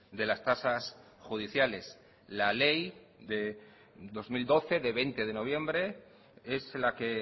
de las tasas judiciales la ley de dos mil doce de veinte de noviembre es la que